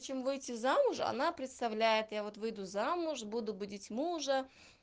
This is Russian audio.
чем выйти замуж она представляет я вот выйду замуж буду будить мужа